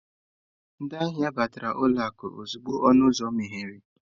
Ndị ahịa batara n'ụlọ akụ ozugbo ọnụ ụzọ meghere.